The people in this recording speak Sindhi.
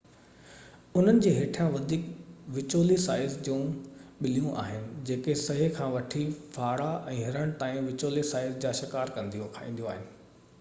انهن جي هيٺيان وڌيڪ وچولي سائيز جون ٻليون آهن جيڪو سهي کان وٺي ڦاڙا ۽ هرڻ تائين وچولي سائيز جا شڪار کائينديون آهن